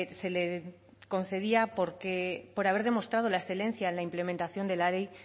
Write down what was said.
se le concedía por haber demostrado la excelencia en la implementación de la ley